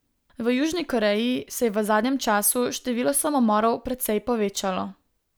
V Južni Koreji se je v zadnjem času število samomorov precej povečalo.